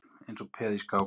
Eins og peð í skák